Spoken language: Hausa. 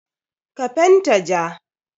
Ka fenta ja.